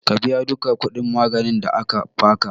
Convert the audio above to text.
Ka biya duka kuɗin maganin da aka baka